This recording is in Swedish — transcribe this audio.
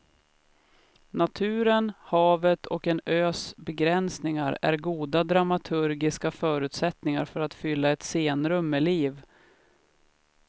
Naturen, havet och en ös begränsning är goda dramaturgiska förutsättningar för att fylla ett scenrum med liv.